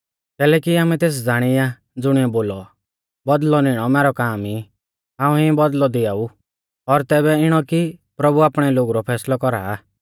कैलैकि आमै तेस ज़ाणी आ ज़ुणिऐ बोलौ बौदल़ौ निणौ मैरौ काम ई हाऊं ई बौदल़ौ दियाऊ और तैबै इणौ कि प्रभु आपणै लोगु रौ फैसलौ कौरा सा